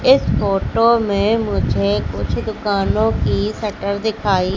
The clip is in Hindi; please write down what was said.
इस फोटो में मुझे कुछ दुकानों की शटर दिखाई--